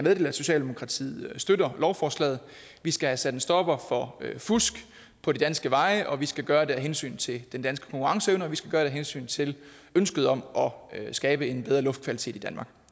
at socialdemokratiet støtter lovforslaget vi skal have sat en stopper for fusk på de danske veje og vi skal gøre det af hensyn til den danske konkurrenceevne og vi skal gøre det af hensyn til ønsket om at skabe en bedre luftkvalitet i danmark